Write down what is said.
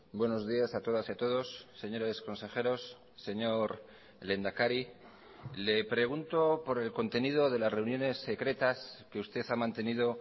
buenos días a todas y a todos señores consejeros señor lehendakari le pregunto por el contenido de las reuniones secretas que usted ha mantenido